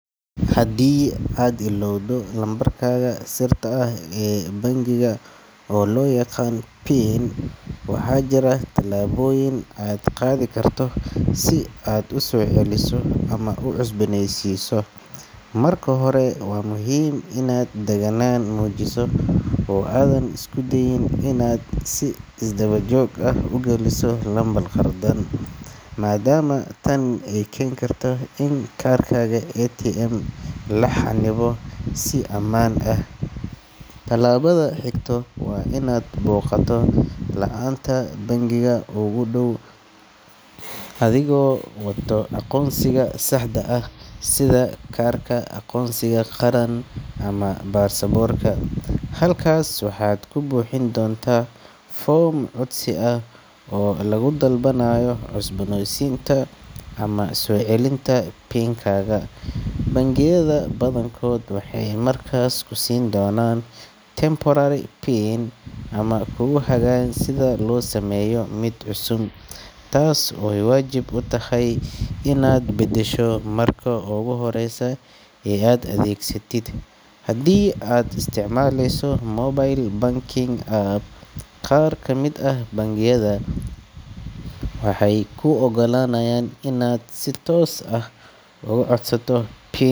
Haddii aad illoowdo lambarkaaga sirta ah ee bangiga, oo loo yaqaan PIN, waxaa jira tallaabooyin aad qaadi karto si aad u soo celiso ama u cusbooneysiiso. Marka hore, waa muhiim inaad deganaan muujiso oo aadan isku dayin inaad si isdaba joog ah u geliso lambar khaldan, maadaama tan ay keeni karto in kaarkaaga ATM la xannibo si ammaan ah. Talaabada xigta waa inaad booqato laanta bangigaaga ugu dhow adigoo wata aqoonsigaaga saxda ah sida kaarka aqoonsiga qaran ama baasaboorka. Halkaas waxaad ku buuxin doontaa foom codsi ah oo lagu dalbanayo cusboonaysiinta ama soo celinta PIN-kaaga. Bangiyada badankood waxay markaasi ku siin doonaan temporary PIN ama kugu hagayaan sida loo sameeyo mid cusub, taas oo ay waajib tahay inaad bedesho marka ugu horreysa ee aad adeegsatid. Haddii aad isticmaaleyso mobile banking app, qaar ka mid ah bangiyada waxay kuu oggolaanayaan inaad si toos ah uga codsato PIN.